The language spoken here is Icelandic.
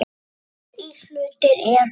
Helstu íhlutir eru